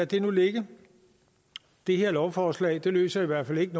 det nu ligge det her lovforslag løser i hvert fald ikke